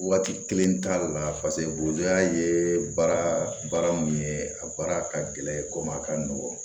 Waati kelen t'a la paseke buruya ye baara baara mun ye a baara ka gɛlɛn komi a ka nɔgɔ